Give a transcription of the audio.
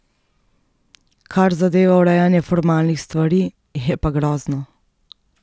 Kar zadeva urejanje formalnih stvari, je pa grozno.